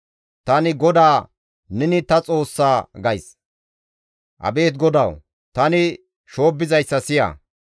Tani GODAA, «Neni ta Xoossa» gays. Abeet GODAWU! Tani shoobbizayssa siya.